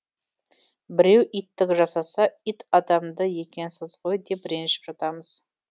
біреу иттік жасаса ит адамды екенсіз ғой деп ренжіп жатамыз